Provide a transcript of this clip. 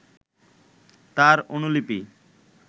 তার অনুলিপি